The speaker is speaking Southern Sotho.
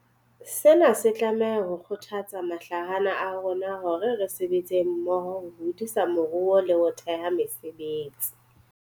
Sena se tlameha ho kgothatsa mahlahana a rona hore re sebetseng mmoho ho hodisa moruo le ho theha mesebetsi.